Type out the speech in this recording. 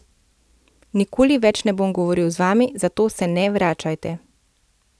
Nikoli več ne bom govoril z vami, zato se ne vračajte.